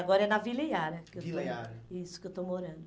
Agora é na Vila Iara que eu estou, Vila Iara, isso, que eu estou morando.